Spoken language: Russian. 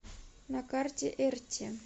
на карте эрти